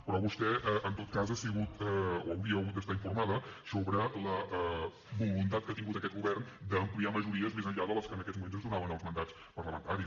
però vostè en tot cas hauria hagut d’estar informada sobre la voluntat que ha tingut aquest govern d’ampliar majories més enllà de les que en aquests moments ens donaven els mandats parlamentaris